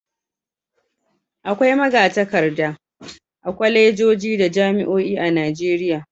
Akwai maga-takarda a kwalejeji da jami'oin a Najeriya.